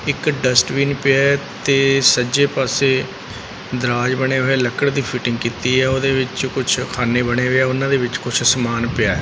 ਇੱਕ ਡਸਟਬਿਨ ਪਿਆ ਤੇ ਸਜੇ ਪਾਸੇ ਦਰਾਜ ਬਣਿਆਂ ਹੋਯਾ ਲੱਕੜ ਦੀ ਫਿਟਿੰਗ ਕੀਤੀ ਹੈ ਓਦੇ ਵਿਚ ਕੁਛ ਖਾਣੇ ਬਣੇ ਹੈ ਉਹਨਾਂ ਦੇ ਵਿਚ ਕੁਛ ਸਮਾਨ ਪਿਆ।